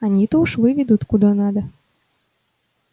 они-то уж выведут куда надо